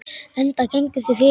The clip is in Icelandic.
Enda gengu þau fyrir.